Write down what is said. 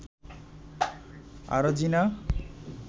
Arjina